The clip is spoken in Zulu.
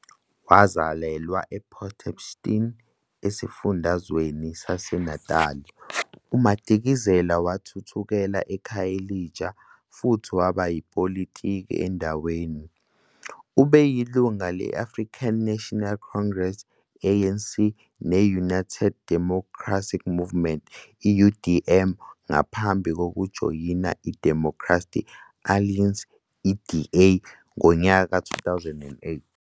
Wazalelwa ePort Shepstone, esifundazweni saseNatali, uMadikizela wathuthela eKhayelitsha futhi waba yipolitiki endaweni. Ubeyilungu le- African National Congress, ANC, ne- United Democratic Movement, UDM, ngaphambi kokujoyina iDemocratic Alliance, DA, ngo-2008.